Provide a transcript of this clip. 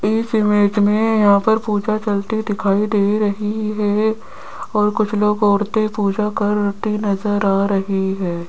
इस इमेज मे यहां पर पूजा चलती दिखाई दे रही है और कुछ लोग औरतें पूजा करती नज़र आ रही है।